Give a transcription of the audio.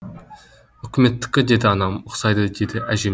үкіметтікі деді анам ұқсайды деді әжем де